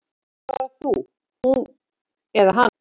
Af hverju ekki bara þú, hún eða hann?